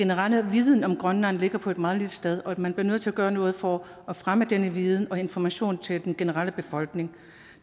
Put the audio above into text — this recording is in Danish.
generelle viden om grønland ligger på et meget lille sted og at man bliver nødt til at gøre noget for at fremme denne viden og information til den generelle befolkning